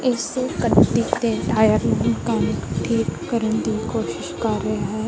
ਇੱਸ ਗੱਡੀ ਦੇ ਟਾਇਰ ਨੂੰ ਮੇਕੇਨਿਕ ਠੀਕ ਕਰਨ ਦੀ ਕੋਸ਼ਿਸ਼ ਕਰ ਰਿਹਾ ਹੈ।